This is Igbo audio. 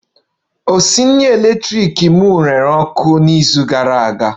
Onye na-esi nri eletrik na-ere ọkụ n'izu gara aga